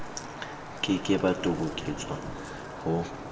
ke ke ba toboketswa ho